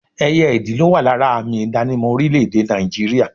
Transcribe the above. Ẹyẹ ìdì ló wà lára àmì ìdánimọ̀ orílẹ̀ èdè Nàìjíríà